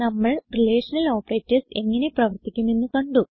നമ്മൾ relational operators എങ്ങനെ പ്രവർത്തിക്കുമെന്ന് കണ്ടു